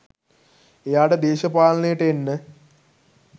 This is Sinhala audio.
එයාට දේශපාලනයට එන්න